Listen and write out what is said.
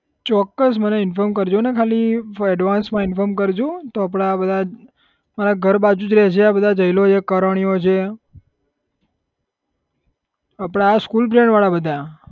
ચોક્કસ મને inform કરજોને ખાલી થોડું advance માં inform કરજો તો આપડા બધા મારા ઘર બાજુ જ રહે છે આ બધા જયલો છે કરણીયો છે આપડા આ school friend વાળા બધા